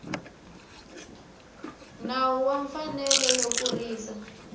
nawu wa mfanelo yo kurisa